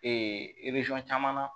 caman na